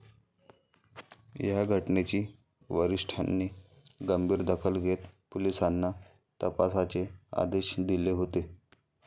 या घटनेची वरिष्ठांनी गंभीर दखल घेत पोलिसांना तपासाचे आदेश दिले होते.